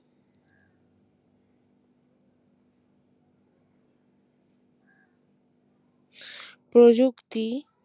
প্রযুক্তি